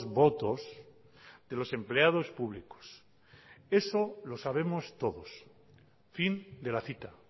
votos de los empleados públicos eso lo sabemos todos fin de la cita